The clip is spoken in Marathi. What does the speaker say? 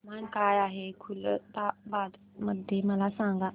तापमान काय आहे खुलताबाद मध्ये मला सांगा